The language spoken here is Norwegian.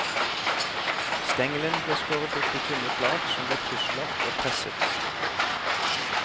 Stengelen ble skåret opp i tynne flak som ble krysslagt og presset.